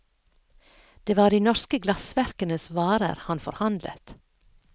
Det var de norske glassverkenes varer han forhandlet.